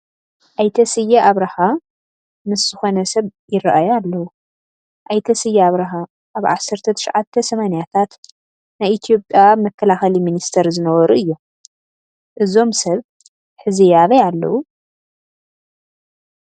ኣይተ ስየ ኣብርሃ ምስ ዝኾነ ሰብ ይርአዩ ኣለዉ፡፡ ኣይተ ስየ ኣብርሃ ኣብ ዓሰርተ ትሽዓተ ሰማንያታት ናይ ኢትዮጵያ መከላኸሊ ሚኒስትር ዝነበሩ እዮም፡፡ እዞም ሰብ ሕዚ ኣበይ ኣለዉ?